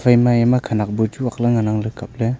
ema hayama khenak bu chu aakley ngan ang kapley.